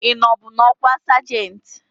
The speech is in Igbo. Ị nọbu n'ọkwa sajentị?